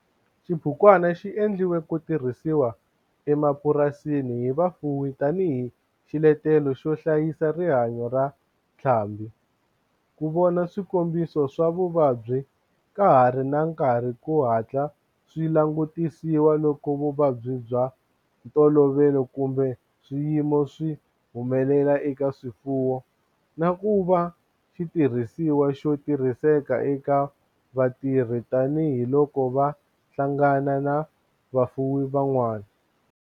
Xibukwana xi endliwe ku tirhisiwa emapurasini hi vafuwi tani hi xiletelo xo hlayisa rihanyo ra ntlhambhi, ku vona swikombiso swa vuvabyi ka ha ri na nkarhi ku hatla swi langutisiwa loko vuvabyi bya ntolovelo kumbe swiyimo swi humelela eka swifuwo, na ku va xitirhisiwa xo tirhiseka eka vatirhi tani hi loko va hlangana na vafuwi van'wana.